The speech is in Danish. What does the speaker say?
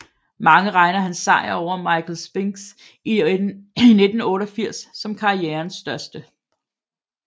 Mange regner hans sejr over Michael Spinks i 1988 som karrierens største